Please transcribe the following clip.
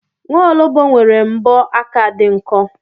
Nwaologbo nwere mbọ aka dị nkọ.